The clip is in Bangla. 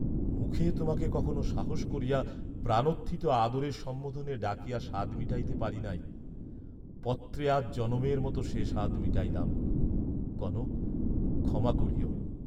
মুখে তোমাকে কখনো সাহস করিয়া প্রাণোত্থিত আদরের সম্বোধনে ডাকিয়া সাধ মিটাইতে পারি নাই; পত্রে আজ জনমের মত সে সাধ মিটাইলাম, কনক ক্ষমা করিও।